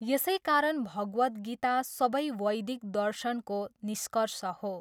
यसै कारण भगवत गीता सबै वैदिक दर्शणको निस्कर्ष हो।